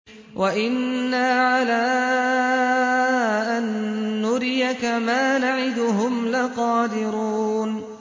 وَإِنَّا عَلَىٰ أَن نُّرِيَكَ مَا نَعِدُهُمْ لَقَادِرُونَ